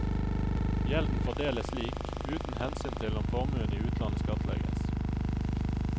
Gjelden fordeles slik, uten hensyn til om formuen i utlandet skattlegges.